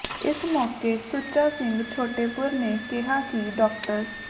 ਇਸ ਮੌਕੇ ਸੁੱਚਾ ਸਿੰਘ ਛੋਟੇਪੁਰ ਨੇ ਕਿਹਾ ਕਿ ਡਾ